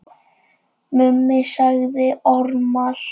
Mummi sagði ormar.